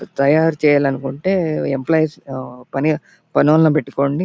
తయారు చెయ్యాలనుకుంటే ఎంప్లాయిస్ ఆ పని పనొల్లని పెట్టుకోండి.